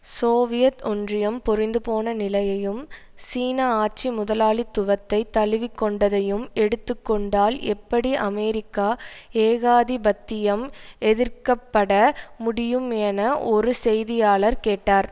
Soviet ஒன்றியம் பொறிந்துபோன நிலையையும் சீன ஆட்சி முதலாளித்துவத்தை தழுவிக்கொண்டதையும் எடுத்து கொண்டால் எப்படி அமெரிக்க ஏகாதிபத்தியம் எதிர்க்க பட முடியும் என ஒரு செய்தியாளர் கேட்டார்